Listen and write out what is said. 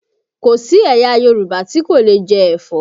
Kò sí ẹ̀yà Yorùbá tí kò leè jẹ́ ẹ̀fọ́